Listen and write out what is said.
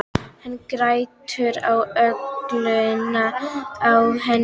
Hann grætur á öxlinni á henni Dísu.